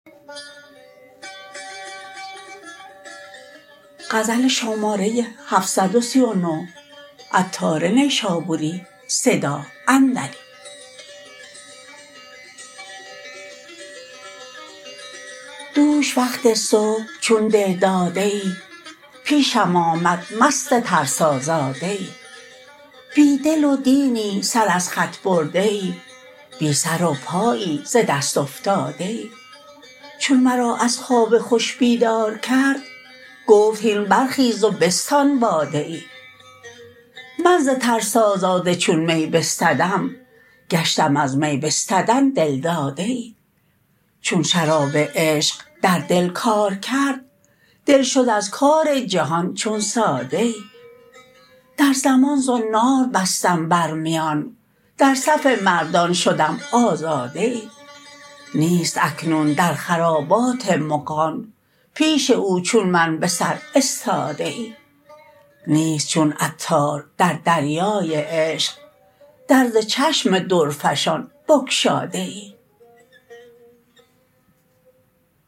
دوش وقت صبح چون دل داده ای پیشم آمد مست ترسازاده ای بی دل و دینی سر از خط برده ای بی سر و پایی ز دست افتاده ای چون مرا از خواب خوش بیدار کرد گفت هین برخیز و بستان باده ای من ز ترسازاده چون می بستدم گشتم از می بستدن دل داده ای چون شراب عشق در دل کار کرد دل شد از کار جهان چون ساده ای در زمان زنار بستم بر میان در صف مردان شدم آزاده ای نیست اکنون در خرابات مغان پیش او چون من به سر استاده ای نیست چون عطار در دریای عشق در ز چشم درفشان بگشاده ای